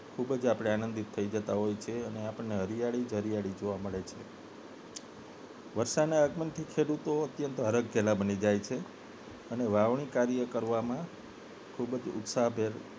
ખૂબ જ આપને આનંદિત થઈ જતા હોઈએ છીએ હરિયાળી જ હરિયાળી જોવા મળે છે વરસાદના આગમનથી ખેડૂતો અત્યંત હરખઘેલા બની જાય છે અને વાવણી કાર્ય કરવામાં ખૂબ જ ઉત્સાહભેર